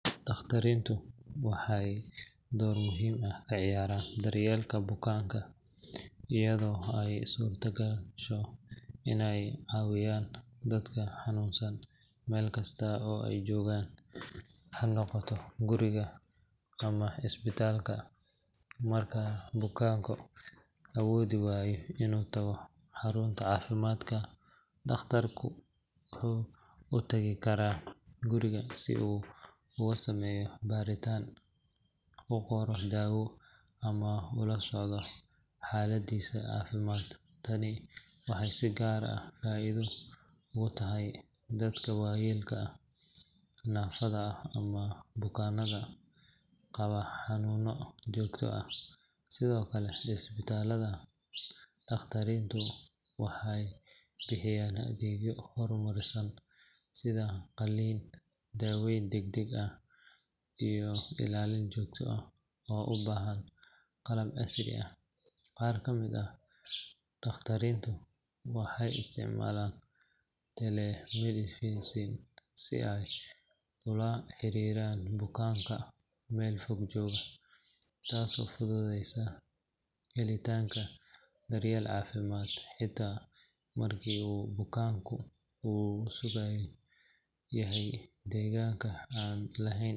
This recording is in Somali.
Dhakhaatiirtu waxay door muhiim ah ka ciyaaraan daryeelka bukaanka iyadoo ay u suurtagasho inay caawiyaan dadka xanuunsan meel kasta oo ay joogaan, ha noqoto guriga ama isbitaalka. Marka bukaanku awoodi waayo inuu tago xarunta caafimaadka, dhakhtarku wuxuu u tagi karaa guriga si uu ugu sameeyo baaritaan, u qoro daawo, ama u la socdo xaaladdiisa caafimaad. Tani waxay si gaar ah faa’iido ugu tahay dadka waayeelka ah, naafada ah ama bukaannada qaba xanuunno joogto ah. Sidoo kale isbitaalada, dhakhaatiirtu waxay bixiyaan adeegyo horumarsan sida qalliin, daaweyn degdeg ah, iyo ilaalin joogto ah oo u baahan qalab casri ah. Qaar ka mid ah dhakhaatiirta waxay isticmaalaan telemedicine si ay ula xiriiraan bukaanka meel fog jooga, taasoo fududeysa helitaanka daryeel caafimaad xitaa marka uu bukaanku ku sugan yahay deegaan aan laheyn.